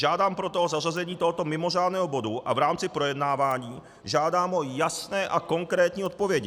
Žádám proto o zařazení tohoto mimořádného bodu a v rámci projednávání žádám o jasné a konkrétní odpovědi.